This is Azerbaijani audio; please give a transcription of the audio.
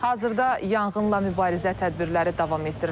Hazırda yanğınla mübarizə tədbirləri davam etdirilir.